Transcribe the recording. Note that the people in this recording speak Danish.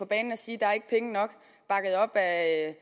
banen at sige at